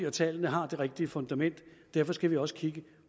at tallene har det rigtige fundament derfor skal vi også kigge